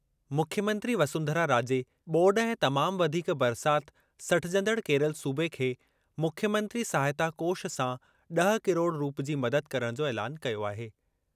मुख्यमंत्री वसुन्धरा राजे ॿोॾ ऐं तमाम वधीक बरसाति सठजंदड़ केरल सूबे खे मुख्यमंत्री सहायता कोष सां ॾह किरोड़ रूप जी मदद करणु जो ऐलानु कयो आहे।